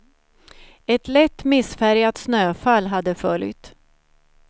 Ett lätt, missfärgat snöfall hade följt.